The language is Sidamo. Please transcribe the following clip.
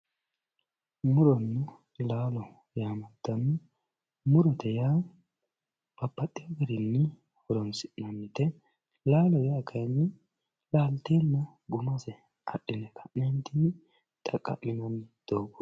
muronna laalo yaamantanno murote yaa babbaxewo garinni horoonsi'nannite laalote yaa kayi laalteenna guma adhine xaqqa'minanni doogo